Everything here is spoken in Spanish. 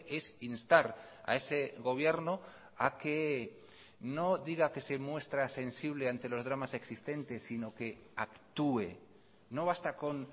es instar a ese gobierno a que no diga que se muestra sensible ante los dramas existentes sino que actúe no basta con